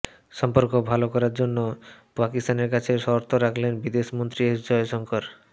সম্পর্ক ভালো করার জন্য পাকিস্তানের কাছে শর্ত রাখলেন বিদেশ মন্ত্রী এস জয়শঙ্কর